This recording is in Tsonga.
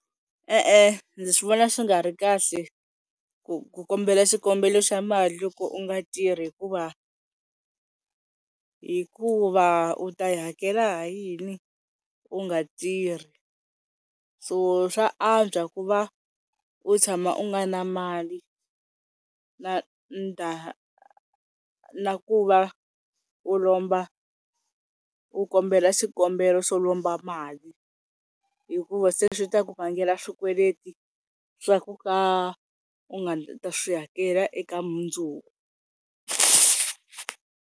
E-e ndzi vona swi nga ri kahle ku kombela xikombelo xa mali loko u nga tirhi hikuva hikuva u ta yi hakela hi yini u nga tirhi so swa antswa ku va u tshama u nga na mali na na ku va u lomba u kombela xikombelo xo lomba mali hikuva se swi ta ku vangela swikweleti swa ku ka u nga ta swi hakela eka mundzuku.